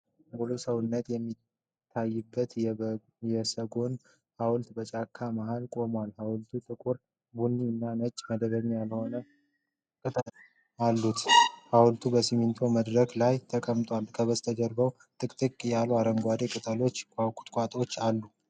ሙሉ ሰውነት የሚታይበት የሰጎን ሐውልት በጫካ መሃል ቆሟል። ሀውልቱ ጥቁር ቡኒ እና ነጭ መደበኛ ያልሆነ ቅጦች አሉት። ሐውልቱ በሲሚንቶ መድረክ ላይ ተቀምጧል። ከበስተጀርባው ጥቅጥቅ ያሉ አረንጓዴ ቅጠሎችና ቁጥቋጦዎች አሉ።